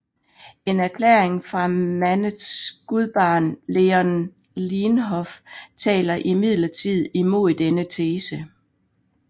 En erklæring fra Manets gudbarn Léon Leenhoff taler imidlertid imod denne tese